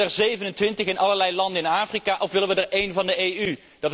Willen we er 27 in allerlei landen in Afrika, of willen we er één van de EU?